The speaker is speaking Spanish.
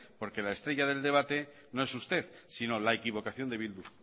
porque la estrella del debate no es usted sino la equivocación de bildu